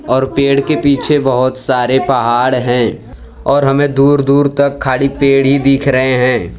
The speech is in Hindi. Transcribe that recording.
और पेड़ के पीछे बहोत सारे पहाड़ हैं और हमें दूर दूर तक खाली पेड़ ही दिख रहे हैं।